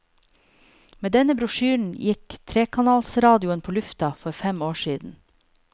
Med denne brosjyren gikk trekanalsradioen på lufta for fem år siden.